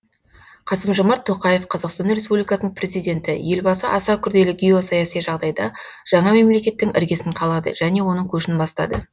қасым жомарт тоқаев қазақстан республикасының президенті елбасы аса күрделі геосаяси жағдайда жаңа мемлекеттің іргесін қалады және оның көшін бастады